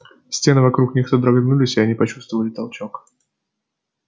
стены вокруг них содрогнулись и они почувствовали толчок